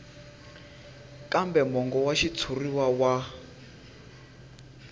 kambe mongo wa xitshuriwa wa